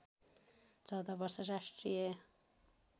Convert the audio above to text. १४ वर्ष राष्ट्रिय